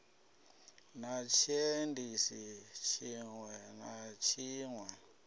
na tshiendisi tshiṋwe na tshiṋwe